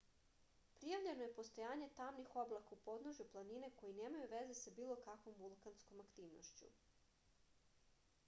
prijavljeno je postojanje tamnih oblaka u podnožju planine koji nemaju veze sa bilo kakvom vulkanskom aktivnošću